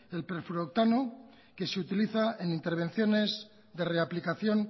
el plerfluorooctano que se utiliza en intervenciones de reaplicación